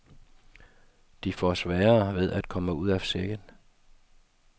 De får sværere ved at komme ud af sækken.